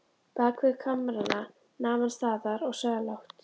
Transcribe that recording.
Bakvið kamrana nam hann staðar og sagði lágt